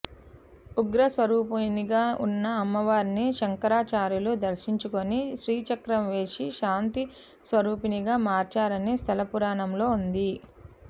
ఉగ్ర స్వరూపిణిగా ఉన్న అమ్మవారిని శంకరాచార్యులు దర్శించుకుని శ్రీచక్రం వేసి శాంతి స్వరూపిణిగా మార్చారని స్థలపురాణంలో ఉంది